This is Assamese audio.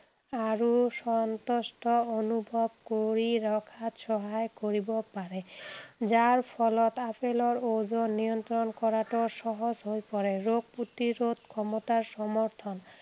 আৰু সন্তুষ্ট অনুভৱ কৰি ৰখাত সহায় কৰিব পাৰে। যাৰ ফলত আপেলৰ ওজন নিয়ন্ত্ৰণ কৰাটো সহজ হৈ পৰে। ৰোগ প্ৰতিৰোগ ক্ষমতাৰ সমৰ্থন